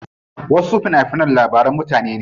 Wasu fina finan labaran mutane ne.